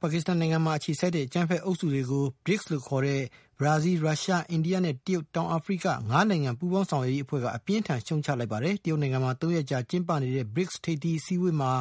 ပါကစ္စတန်နိုင်ငံမှာ အခြေစိုက်တဲ့ အကြမ်းဖက်အုပ်စုတွေကို BRICS လို့ခေါ်တဲ့ ဘရာဇီး၊ ရုရှား၊ အိန္ဒိယ၊ တရုတ်နဲ့ တောင်အာဖရိက ၅နိုင်ငံပူးပေါင်းရွက်ရေးအဖွဲ့က အပြင်းအထန် ရှုတ်ချ လိုက်ပါတယ်။ တရုတ်နိုင်ငံမှာ ၃ရက်ကြာကျင်းပ နေတဲ့ BRICS ၅နိုင်ငံထိပ်သီးဆွေးနွေးပွဲမှာ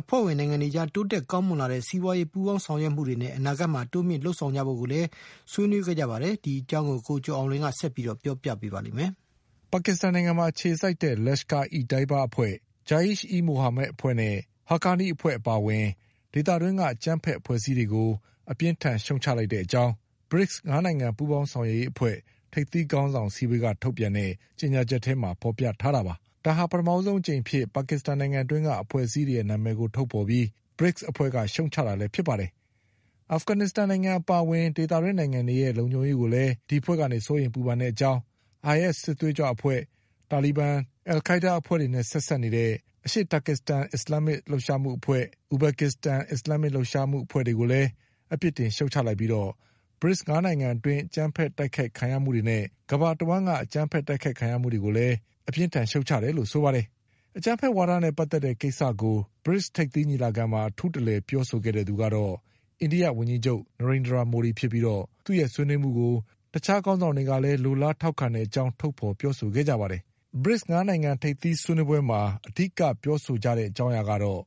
အဖွဲ့ဝင်နိုင်ငံတွေအကြား တိုးတက်ကောင်းမွန်လာနေတဲ့ စီးပွါးရေးပူးပေါင်း ဆောင်ရွက်မှုတွေနဲ့ အနာဂတ်မှာတိုးမြင့်လုပ်ဆောင်ကြဖို့ကိုလည်းဆွေးနွေးခဲ့ကြပါတယ်။ ဒီအကြောင်း ကိုကျော် အောင်လွင်က ဆက်ပြီးပြောပြပါလိမ့်မယ်။ ပါကစ္စတန်နိုင်ငံမှာအခြေစိုက်တဲ့ Lashkar-e- Taiba အဖွဲ့၊ Jaish-e-Mohammed အဖွဲ့နဲ့ Haqqani အဖွဲ့အပါအဝင် ဒေသတွင်းက အကြမ်းဖက်အဖွဲ့အစည်းတွေကို အပြင်းအထန်ရှုတ်ချတဲ့အကြောင်း BRICS ၅နိုင်ငံပူးပေါင်းဆောင်ရွက် ရေးအဖွဲ့ ထိပ်သီးခေါင်းဆောင်အစည်းအဝေးက ထုတ်ပြန်တဲ့ကြေညာချက်ထဲမှာဖေါ်ပြထားတာပါ။ ဒါဟာ ပထမဆုံး အကြိမ်အဖြစ် အဖွဲ့ အစည်းနာမည်တွေကိုထုတ်ဖေါ်ပြီး BRICS အဖွဲ့က ရှုတ်ချတာလည်းဖြစ်ပါတယ်။ အာဖဂန်နစ္စတန် နိုင်ငံ အပါအဝင်ဒေသတွင်းနိုင်ငံတွေရဲ့ လုံခြုံရေးကိုလည်း စိုးရိမ်ပူပန်တဲ့အကြောင်း IS စစ်သွေးကြွအဖွဲ့၊ တာလီဘန်၊ အလ်ခိုင်းဒါးနဲ့ဆက်စပ်နေတဲ့ အရှေ့တာကစ္စတန် အစ္စလမ်းမစ်လှုပ်ရှားမှုအဖွဲ့၊ အူဘက်ကစ္စတန် အစ္စလာမ်မစ်လှုပ်ရှားမှု အဖွဲ့တွေကိုလည်း အပြစ်တင် ရှုတ်ချပြီး BRICS ၅နိုင်ငံအတွင်း အကြမ်းဖက်တိုက်ခိုက်ခံရမှုတွေနဲ့ကမ္ဘာတဝှမ်းက အကြမ်းဖက်တိုက်ခိုက်ခံရ မှုတွေကို လည်း ရှုတ်ချတယ်လို့ ဆိုပါတယ်။ အကြမ်းဖက်ဝါဒနဲ့ပတ်သက်တဲ့ကိစ္စကို ထိပ်သီးညီလာခံမှာ အထူးတလည်ပြောဆို တဲ့သူကတော့ အိန္ဒိယဝန်ကြီးချုပ် နရိန်ဒရာမိုဒီဖြစ်ပြီး သူ့ရဲ့ဆွေးနွေးမှုကို တခြားခေါင်းဆောင်တွေကလည်း လိုလား ထောက်ခံတဲ့အကြောင်းထုတ်ဖေါ်ပြောဆိုခဲ့ကြပါတယ်။ ထိပ်သီးဆွေးနွေးပွဲမှာ အဓိကထားပြောဆိုကြတာကတော့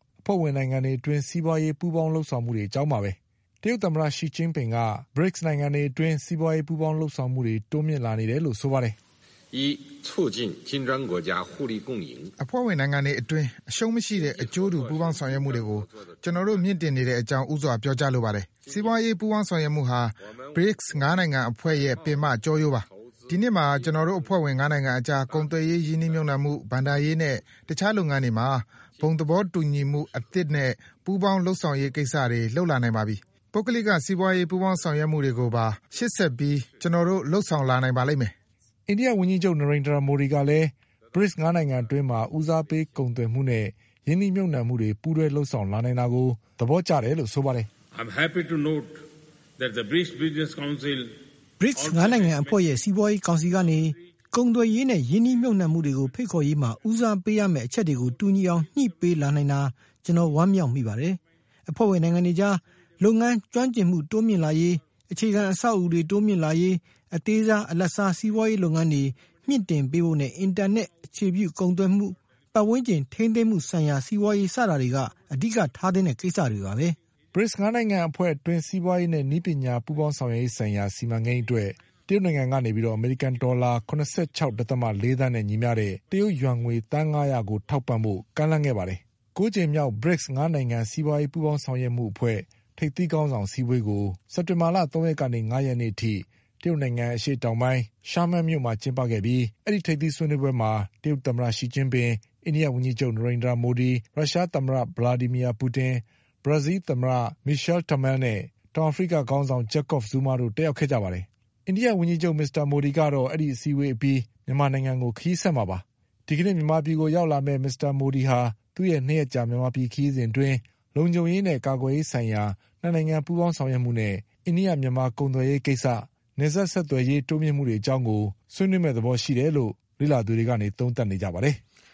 ၅နိုင်ငံအတွင်း စီးပွါးရေးပူးပေါင်းလုပ်ဆောင်မှုတွေအကြောင်းပါပဲ။ တရုတ်သမ္မတရှီကျင်းပင်က အဖွဲ့ဝင်နိုင်ငံတွေအတွင်း စီးပွါးရေးပူးပေါင်လုပ်ဆောင်မှုတွေ တိုးမြင့်လာနေတယ်လို့ဆိုပါတယ်။ “အဖွဲ့ဝင်နိုင်ငံတွေအတွင်း အရှုံးမရှိတဲ့ အကျိုးတူပူးပေါင်းဆောင်ရွက်မှုတွေကို ကျနော်တို့ မြင့်တင်နေတဲ့အကြောင်း ဦးစွာပြောကြားလိုပါတယ်။ စီးပွါးရေးပူးပေါင်းဆောင်ရွက်မှုဟာ BRICS ၅နိုင်ငံအဖွဲ့ရဲ့ပင်မကျောရိုးပါပဲ။ ဒီနှစ်မှာ ကျနော် တို့အဖွဲ့ဝင်၅နိုင်ငံအကြား ကုန်သွယ်ရေးရင်းနှီးမြုတ်နှံမှု၊ ဘဏ္ဍာရေးနဲ့ တခြားလုပ်ငန်းတွေမှာ ဘုံသဘောတူညီမှုအသစ် နဲ့ ပူးပေါင်းလုပ်ဆောင်ရေးကိစ္စတွေ လုပ်လာနိုင်ပါပြီ။ ပုဂ္ဂလိက စီးပွါးရေးပူးပေါင်းဆောင်ရွက်မှုတွေကိုပါ ရှေ့ဆက်ပြီးကျနော်တို့လုပ် ဆောင်လာနိုင်ပါလိမ့်မယ်။” အိန္ဒိယဝန်ကြီးချုပ် မိုဒီကလည်း BRICS ၅နိုင်ငံအတွင်း ဦးစားပေးကုန်သွယ်မှု နဲ့ရင်းနှီးမြုတ်နှံမှုတွေပူးတွဲလုပ်လာ နိုင်တာကို သဘောကျတယ်လို့ဆိုပါတယ်။ “BRICS ၅နိုင်ငံအဖွဲ့ရဲ့စီးပွါးရေးကောင်စီကနေ ကုန်သွယ်ရေးနဲ့ရင်းနှီးမြုပ်နှံမှုတွေ ကိုဖိတ်ခေါ်ရေးမှာ ဦးစားပေးရမယ့် အချက်တွေကို တူညီအောင်ညှိနှိုင်းပေးလာနိုင်တာ ကျနော်ဝမ်းမြောက်မိပါတယ်။ အဖွဲ့ဝင်နိုင်ငံတွေအကြား လုပ်ငန်း ကျွမ်းကျင်မှုတိုးမြင့်လာရေး၊ အခြေခံအဆောက်အဦးတွေတိုးမြင့်လာရေး အသေးစား၊ အလတ်စားစီးပွါးရေးလုပ်ငန်းတွေ ကိုမြင့်တင်ပေးဖို့နဲ့ အင်တာနက်အခြေပြုကုန်သွယ်မှု၊ ပတ်ဝန်းကျင်ထိန်းသိမ်းမှုဆိုင်ရာ စီးပွါးရေးစတာတွေက အဓိက ထားသင့်တဲ့ကိစ္စတွေပါပဲ။” BRICS ၅နိုင်ငံအဖွဲ့အတွင်း စီးပွါးရေးနဲ့ နည်းပညာပူးပေါင်းဆောင်ရွက်ရေးဆိုင်ရာ စီမံကိန်း အတွက် တရုတ်နိုင်ငံက အမေရိကန်ဒေါ်လာ ၇၆.၄သန်းနဲ့ညီမျှတဲ့ တရုတ်ယွမ်ငွေ သန်း၅ရာကိုထောက်ပံ့ဖို့ ကမ်းလှမ်းခဲ့ ပါတယ်။ ၉ကြိမ်မြောက် BRICS ၅နိုင်ငံပူးပေါင်းဆောင်ရွက် ရေးအဖွဲ့ ထိပ်သီးခေါင်းဆောင်အစည်းအဝေးကို စက်တင်ဘာလ ၃ရက်ကနေ ၅ရက်နေ့ထိ တရုတ်နိုင်ငံ အရှေ့တောင်ပိုင်း Xiamen မြို့မှာကျင်းပခဲ့ပြီး အဲဒီထိပ်သီးဆွေးနွေးပွဲမှာ တရုတ် သမ္မတ ရှီကျင်းပင်၊အိန္ဒိယဝန်ကြီးချုပ် နရိန်ဒြာမိုဒီ၊ ရုရှားသမ္မတ ဗလာဒီမီယာပူတင်၊ ဘရာဇီးလ်သမ္မတ မီရှလ် တယ်မဲလ်နဲ့ တောင်အာဖရိကခေါင်းဆောင် ဂျက်ကော့ဖ် ဇူးမားတို့တက်ရောက်ခဲ့ကြပါတယ်။ အိန္ဒိဝန်ကြီးချုပ် မိုဒီကတော့ အဲဒီအစည်းအဝေးအပြီး မြန်မာနိုင်ငံကို ခရီးဆက်မှာပါ။ မြန်မာနိုင်ငံကို ဒီကနေ့ရောက်လာမယ့် မစ္စမိုဒီ ဟာ သူ့ရဲ့၂ရက်ကြာမြန်မာပြည်ခရီးစဉ်အတွင်း လုံခြုံရေးနဲ့ ကာကွယ်ရေးဆိုင်ရာ ၂နိုင်ငံပူးပေါင်းဆောင်ရွက်မှုနဲ့ အိန္ဒိယ-မြန်မာကုန်သွယ်ရေး၊ နယ်စပ်ဆက်သွယ်ရေး တိုးတက်မှုတွေအကြောင်းဆွေးနွေးမယ့်သဘောရှိတယ်လို့ လေ့လာသူတွေက သုံးသပ်နေကြပါတယ်။